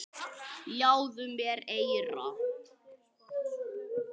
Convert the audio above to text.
Ljáðu mér eyra.